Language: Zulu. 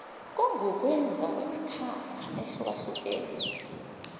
kungukwenza kwemikhakha eyehlukahlukene